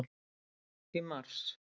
Í mars